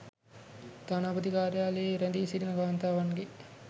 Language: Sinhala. තානාපති කාර්යාලයේ රැඳී සිටින කාන්තාවන්ගේ